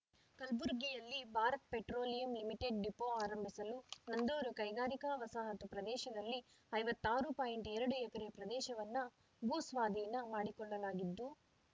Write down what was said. ಕಲ್ಬುರ್ಗಿಯಲ್ಲಿ Bharat Petroleum Limited depot ಆರಂಭಿಸಲು ನಂದೂರು ಕೈಗಾರಿಕಾ ವಸಾಹತು ಪ್ರದೇಶದಲ್ಲಿ ಐವತ್ತ್ ಆರು ಪಾಯಿಂಟ್ ಎರಡು ಎಕರೆ ಪ್ರದೇಶವನ್ನು ಭೂಸ್ವಾಧೀನ ಮಾಡಿಕೊಳ್ಳಲಾಗಿದ್ದು